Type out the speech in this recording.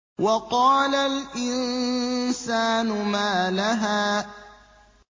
وَقَالَ الْإِنسَانُ مَا لَهَا